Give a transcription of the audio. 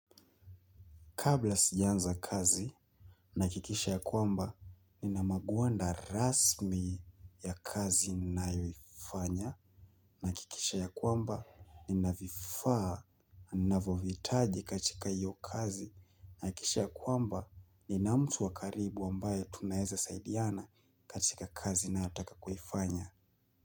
Kabla sijaanza kazi, nahakikisha ya kwamba, nina magwanda rasmi ya kazi nayoifanya, nahakikisha ya kwamba, nina vifaa navohitaji katika iyo kazi nahakikisha ya kwamba nina mtu wa karibu ambaye tunaweza saidiana katika kazi nayotaka kuifanya.